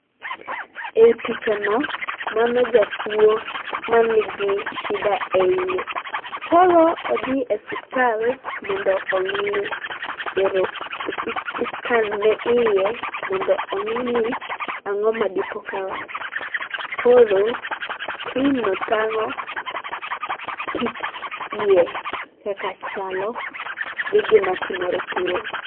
ei picha no, mano jatuo manigi shida e iyeye. koro odhi osuptal mondo ong'i, ero i scan ne iye mondo ong'i ni ang'oma dipoka rach. Koro screen no tang'o kit iye kaka chalo gi gima timore kuro